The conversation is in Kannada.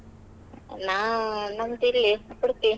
ನಾವು ನಮ್ದಿಲ್ಲಿ Udupi .